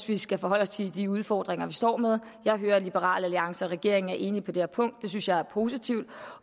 vi skal forholde os til de udfordringer vi står med jeg hører at liberal alliance og regeringen er enige på det her punkt det synes jeg er positivt